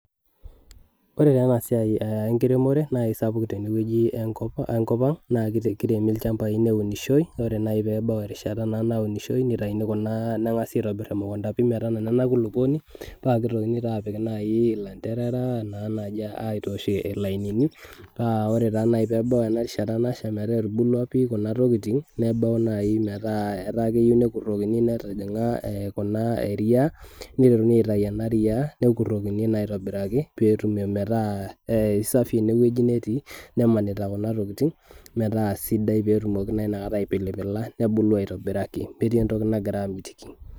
Ore taa ena siai enkiremore naa kisapuk tenkop ang naa kiremi ilchambai neunishoi. Ore naji naa naji pebau erishata naunishoi nitayuni kuna, nengasi aitobir emukunta , metanana ena kulupuoni paa kitokini nai apik ilanterera naa naji aitosh ilainini. Paa ore naji pebau erishata nasha , metaa etubulua kuna tokitin , nebau naji metaa etayieu nekurokini , netijinga kuna eriaa, nitokini aitayu ena riaa nekurokini naa aitobiraki metaa ee isafi ine wueji netii, nemanita kuna tokitin metaa sidai , pee etumoki naa inakata aipilipila , nebulu aitobiraki metii entoki nagira amitiki.